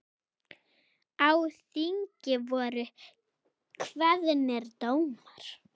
Á þingi voru kveðnir dómar.